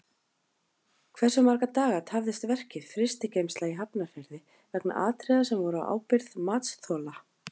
Hversu marga daga tafðist verkið Frystigeymsla í Hafnarfirði vegna atriða sem voru á ábyrgð matsþola?